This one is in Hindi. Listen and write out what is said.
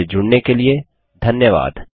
हमसे जुड़ने के लिए धन्यवाद